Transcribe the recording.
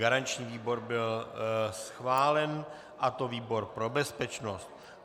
Garanční výbor byl schválen, a to výbor pro bezpečnost.